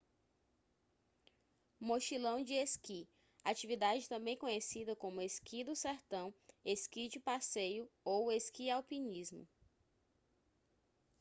mochilão de esqui atividade também conhecida como esqui do sertão esqui de passeio ou esqui-alpinismo